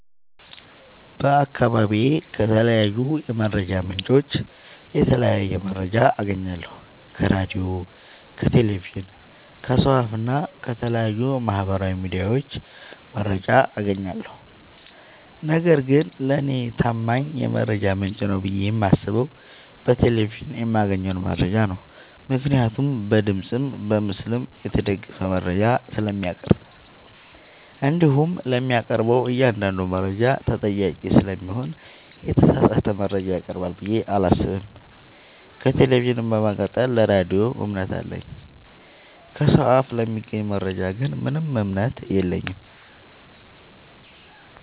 በአካባቢዬ ከተለያዩ የመረጃ ምንጮች የተለያየ መረጃ አገኛለሁ ከራዲዮ ከቴሌቪዥን ከሰው አፋ እና ከተለያዩ ማህበራዊ ሚዲያዎች መረጃ አጋኛለሁ። ነገርግን ለኔ ታማኝ የመረጃ ምንጭ ነው ብዬ የማስበው በቴሌቪዥን የማገኘውን መረጃ ነው ምክንያቱም በድምፅም በምስልም የተደገፈ መረጃ ስለሚያቀርብ። እንዲሁም ለሚያቀርበው እኛአንዳዱ መረጃ ተጠያቂ ስለሚሆን የተሳሳተ መረጃ ያቀርባል ብዬ አላሰብም። ከቴሌቪዥን በመቀጠል ለራዲዮ እምነት አለኝ። ከሰው አፍ ለሚገኝ መረጃ ግን ምንም እምነት የለኝም።